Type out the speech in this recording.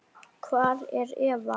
Hvar er Eva?